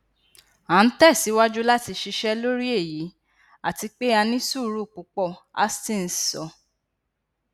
a n tẹsiwaju lati ṣiṣẹ lori eyi ati pe a ni suuru pupọ hastings sọ